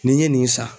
N'i ye nin san